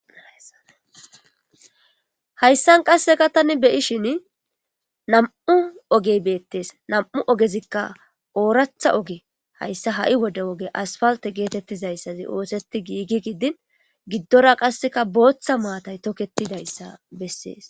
Hayssan qasekka tani be'ishin nam'u ogey bettes.nam'u ogezikka oraththa oge hayssa ha'i oge asffalte gettetizayssazi otheti giggizayssi din giddora qase botha battalions tokketidayssa besses.